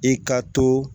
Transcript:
I ka to